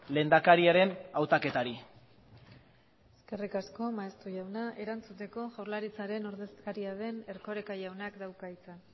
lehendakariaren hautaketari eskerrik asko maeztu jauna erantzuteko jaurlaritzaren ordezkaria den erkoreka jaunak dauka hitza